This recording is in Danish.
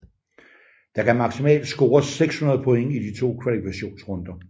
Der kan maksimalt scores 600 point i de to kvalifikationsrunder